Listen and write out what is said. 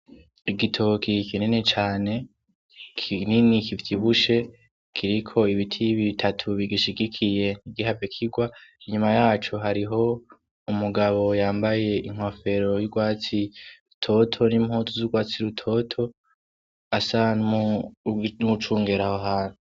Igitokie kinene cane kinini kivyibushe kiriko ibiti y'ibi bitatu bigishigikiye ntigihave kirwa inyuma yacu hariho umugabo yambaye inkofero y'urwatsi rutoto n'impoto z'urwatsi lutoto asanmu n'ucungeraho hantu.